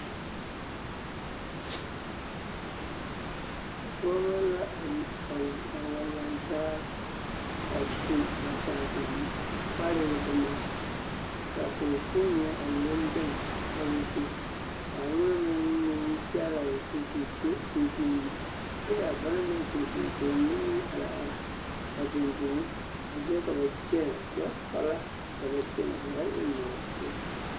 Pɔgeba la a wa lantaa a su ba saaŋkoŋ parɛɛ boma ka a pɔgekpoŋ ŋa a leŋ leŋ a onaŋ meŋ naŋ leŋ o zu ka o kyeŋ pimpim kyɛ ka banaŋ meŋ zeŋ zeŋ ka a mine meŋ are are a dendeŋ ka mine meŋ kyɛnɛ gbɛkpala ka ba kyɛnɛ ba ba eŋ nɔɔteɛ.